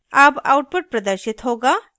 अब output प्रदर्शित होगाः